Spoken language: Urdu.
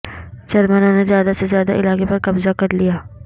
جرمنوں نے زیادہ سے زیادہ علاقے پر قبضہ کر لیا